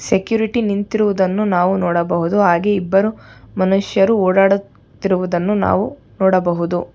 Security ನಿಂತಿರುವುದನ್ನು ನಾವು ನೋಡಬಹುದು ಹಾಗೆ ಇಬ್ಬರು ಮನುಷ್ಯರು ಓಡಾಡತ್ತಿರುವುದನ್ನು ನಾವು ನೋಡಬಹುದು.